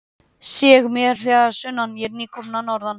Seg mér að sunnan, ég er nýkominn að norðan.